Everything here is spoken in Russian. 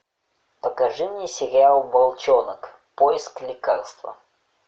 покажи мне сериал волчонок поиск лекарства